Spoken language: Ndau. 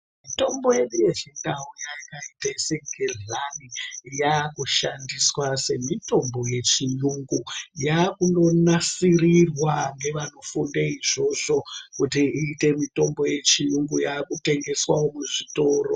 Mutombo yedu yechindau yakaita segedhlani yaku shandiswa semitombo yechiyungu yakundo nasirirwa ngevano funda izvozvo kuti iite mitombo yechiyungu yakutengeswa wo muzvitoro.